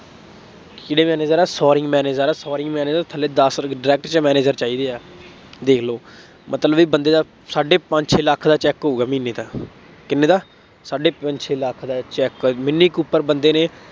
ਕਿਹੜੇ manager ਹਾਂ, manager ਹਾਂ, manager ਥੱਲੇ ਦੱਸ direct manager ਚਾਹੀਦੇ ਹੈ। ਦੇਖ ਲਉ, ਮਤਲਬ ਬਈ ਬੰਦੇ ਦਾ ਸਾਢੇ ਪੰਜ ਛੇ ਲੱਖ ਦਾ check ਹੋਊਗਾ ਮਹੀਨੇ ਦਾ, ਕਿਂੰਨੇ ਦਾ, ਸਾਢੇ ਪੰਜ ਛੇ ਲੱਖ ਦਾ check ਮਿੰਨੀ ਕੂਪਰ ਬੰਦੇ ਨੇ,